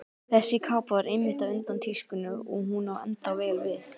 Þessi kápa var einmitt á undan tískunni og hún á ennþá vel við.